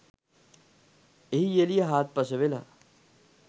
එහි එළිය හාත්පස වෙළා